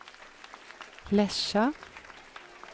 Lesja